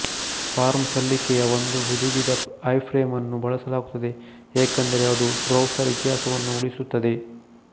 form ಸಲ್ಲಿಕೆಯ ಒಂದು ಹುದುಗಿದಐಫ್ರೇಮ್ಅನ್ನು ಬಳಸಲಾಗುತ್ತದೆ ಏಕೆಂದರೆ ಅದು ಬ್ರೌಸರ್ ಇತಿಹಾಸವನ್ನು ಉಳಿಸುತ್ತದೆ